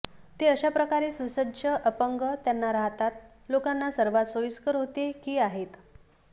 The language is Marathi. ते अशा प्रकारे सुसज्ज अपंग त्यांना राहतात लोकांना सर्वात सोयीस्कर होते की आहेत